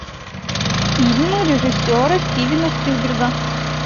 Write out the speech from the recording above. фильмы режиссера стивена спилберга